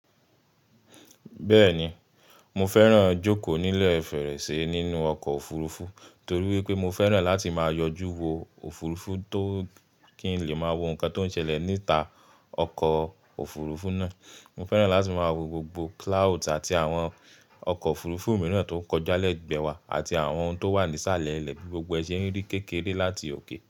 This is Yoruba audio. Bẹ́ẹ̀ni, mo fẹ́ràn jókòó nílẹ̀ fèrèsé nínú ọkọ̀ òfurufú torí wípé mo fẹ́ràn láti máa yọjú wo òfurufú tó kí n lè máa wo nǹkan tó ń ṣẹlẹ̀ níta ọkọ̀ òfurufú náà. Mo fẹ́ràn láti máa wo gbogbo cloud àti àwọn ọkọ̀ òfurufú mìíràn tó ń kọjá lẹ́gbẹ̀ẹ́ wa àti àwọn ohun tó wà ní isàlẹ́ ilẹ́ bí gbogbo ẹ se n rí kékeré láti òkè.